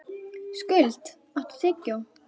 Skuld, áttu tyggjó?